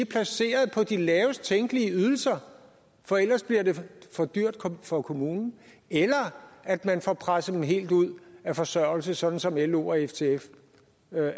placeret på de lavest tænkelige ydelser for ellers bliver det for dyrt for kommunen eller at man får presset dem helt ud af forsørgelse sådan som lo og ftf